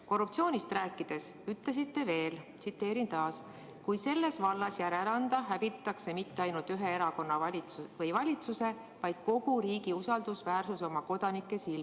" Korruptsioonist rääkides ütlesite veel: "Kui selles vallas järele anda, hävitatakse mitte ainult ühe erakonna või valitsuse, vaid kogu riigi usaldusväärsus oma kodanike silmis."